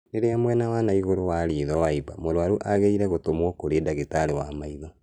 Rĩrĩa mwena wa naigũrũ wa ritho waimba, mũrwaru agĩrĩirwo gũtũmwo kũrĩ ndagĩtarĩ wa maitho